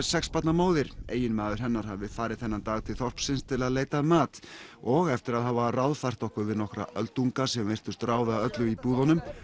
sex barna móðir eiginmaður hennar hafði farið þennan dag til þorpsins til að leita að mat og eftir að hafa ráðfært okkur við nokkra öldunga sem virtust ráða öllu í búðunum